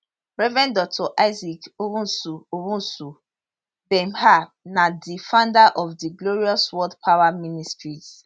rev dr isaac owusu owusu bempah na di founder of di glorious word power ministries